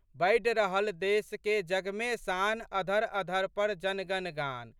बढ़ि रहल देशके जगमे शान, अधरअधर पर जनगण गान।